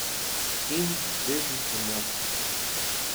In dezinformacije.